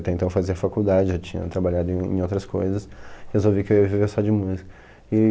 Até então eu fazia faculdade, já tinha trabalhado em em outras coisas, resolvi que eu ia viver só de música.